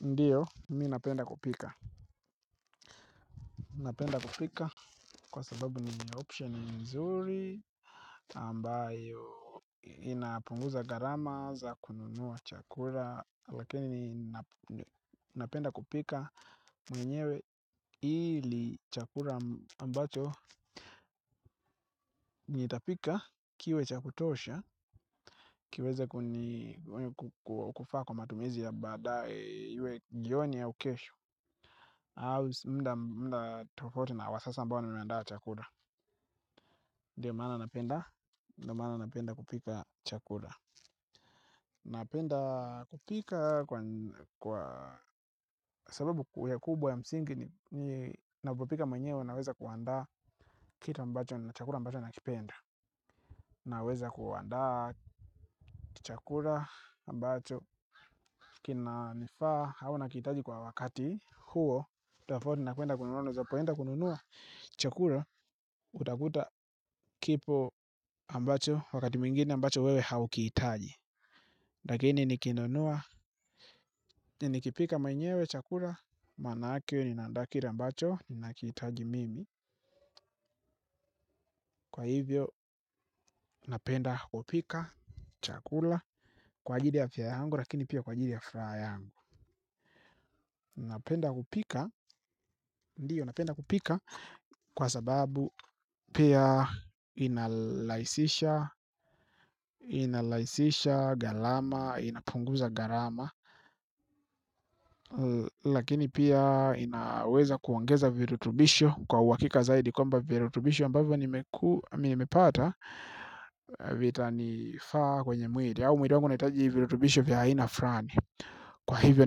Ndiyo, mimi napenda kupika. Napenda kupika kwa sababu ni option nzuri ambayo inapunguza gharama za kununua chakura. Lakini napenda kupika mwenyewe ili chakula ambacho nitapika kiwe cha kutosha kiweze kufaa kwa matumizi ya baadaye iwe jioni au kesho. Muda tufauti na wa sasa ambao nimeandaa chakula. Ndiyo maana napenda kupika chakula. Napenda kupika kwa sababu ya kubwa ya msingi ninapopika mwenyewe naweza kuanda kitu ambacho na chakula ambacho nakipenda. Naweza kuanda chakula ambacho kinanifaa au nakihitaji kwa wakati huo tofauti na kuenda kununua chakula. Utakuta kipo ambacho wakati mwingine ambacho wewe haukihitaji lakini nikinunua nikipika mwenyewe chakula maanake ninaanda kile ambacho ninakihitaji mimi kwa hivyo napenda kupika chakula kwa ajili ya afya yangu lakini pia kwa ajili ya furaha yangu napenda kupika ndiyo napenda kupika kwa sababu pia inarahisisha gharama inapunguza gharama lakini pia inaweza kuongeza virutubisho kwa uhakika zaidi kwamba virutubisho ambavyo nimepata vitanifaa kwenye mwili au mwili wangu unahitaji virutubisho vya aina frani. Kwa hivyo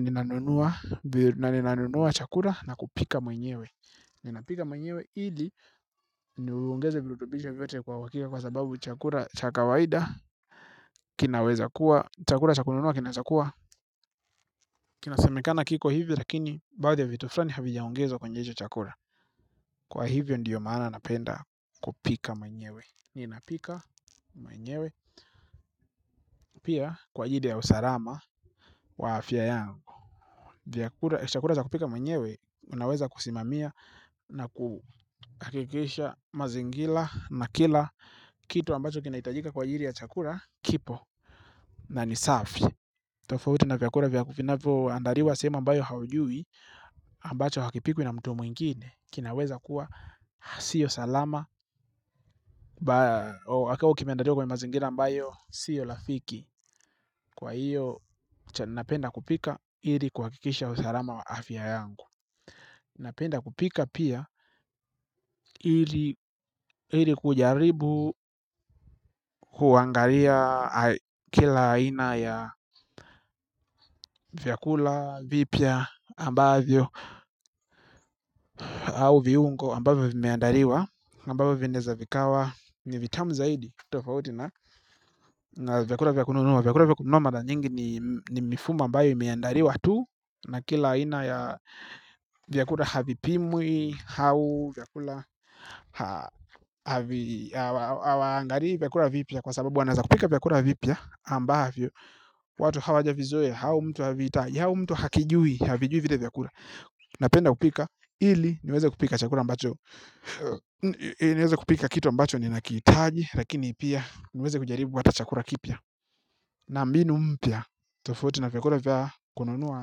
ninanunua na ninanunua chakula na kupika mwenyewe. Ninapika mwenyewe ili niongeze virutubisho vyote kwa uhakika kwa sababu chakula cha kawaida kinaweza kuwa chakula cha kununua kinaeza kuwa. Kinasemekana kiko hivyo lakini baadhi ya vitu fulani havijaongezwa kwenyehicho chakula kwa hivyo ndiyo maana napenda kupika mwenyewe ninapika mwenyewe pia kwa ajili ya usalama wa afya yangu chakula chakula cha kupika mwenyewe unaweza kusimamia na kuhakikisha mazingira na kila kitu ambacho kinahitajika kwa ajili ya chakula kipo na ni safi tofauti na vyakula vya vinavyoandaliwa sehemu ambayo haujui ambacho hakipikwi na mtu mwingine. Kinaweza kuwa siyo salama. Wakao kimeandaliwa kwa mazingira ambayo siyo rafiki. Kwa hiyo napenda kupika ili kuhakikisha usalama wa afya yangu. Napenda kupika pia ili kujaribu kuangalia kila aina ya vyakula, vipya, ambavyo au viungo ambavyo vimeandaliwa ambavyo vinaeza vikawa ni vitamu zaidi na vyakula vya kununua vyakula vya kununua mara nyingi ni mifumo ambayo imiandaliwa tu na kila aina ya vyakula havipimwi au vyakula hawaangali vyakula vipya kwa sababu wanaeza kupika vyakula vipya ambayo watu hawajavizoea au mtu havita au mtu hakijui havijui vile vyakula napenda kupika ili niweze kupika chakula ambacho niweze kupika kitu ambacho ninakihitaji lakini pia niweze kujaribu hata chakula kipya na mbinu mpya tofauti na vyakula vya kununua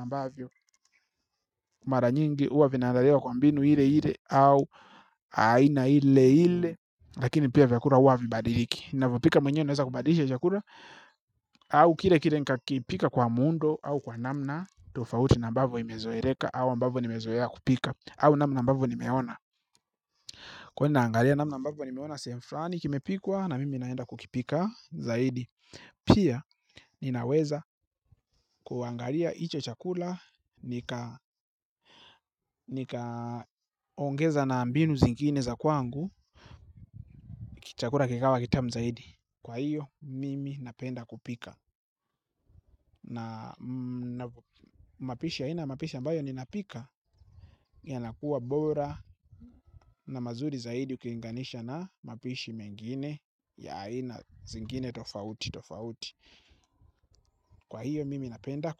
ambavyo mara nyingi huwa vinaandaliwa kwa mbinu ile ile au aina ile ile lakini pia vyakula huwa havibadiliki navipika mwenyewe naweza kubadilisha chakula au kile kile nikakipika kwa muundo au kwa namna tofauti na ambavyo imezoeleka au ambavyo nimezoea kupika au namna ambavyo nimeona. Kwani naangalia namna ambavyo nimeona sehemu fulani kimepikwa na mimi naenda kukipika zaidi. Pia ninaweza kuangalia hicho chakula nikaongeza na mbinu zingine za kwangu chakula kikawa kitamu zaidi. Kwa hiyo mimi napenda kupika na mapishi ya aina mapishi ambayo ninapika yanakuwa bora na mazuri zaidi ukilinganisha na mapishi mengine ya aina zingine tofauti. Kwa hiyo mimi napenda kwa.